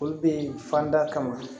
Olu bɛ yen fanda kama